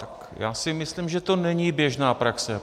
Tak já si myslím, že to není běžná praxe.